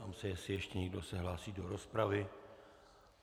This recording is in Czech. Ptám se, jestli ještě někdo se hlásí do rozpravy.